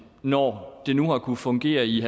når det nu har kunnet fungere i en